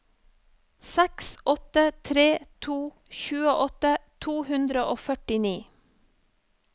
seks åtte tre to tjueåtte to hundre og førtini